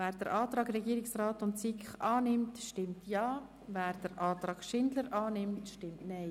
Wer den Antrag des Regierungsrats und der SiK annimmt, stimmt Ja, wer den Antrag von Grossrätin Schindler annimmt, stimmt Nein.